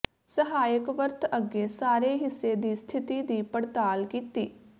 ਸਹਾਇਕ ਵਰਤ ਅੱਗੇ ਸਾਰੇ ਹਿੱਸੇ ਦੀ ਸਥਿਤੀ ਦੀ ਪੜਤਾਲ ਕੀਤੀ